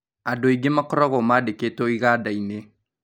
Andū aingī makoragwõ mandīkītwõ igada-inī